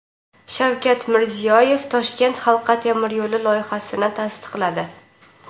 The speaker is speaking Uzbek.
Shavkat Mirziyoyev Toshkent halqa temiryo‘li loyihasini tasdiqladi.